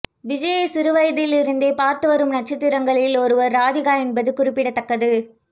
விஜய்யை சிறுவயதில் இருந்தே பார்த்து வரும் நட்சத்திரங்களில் ஒருவர் ராதிகா என்பது குறிப்பிடத்தக்கது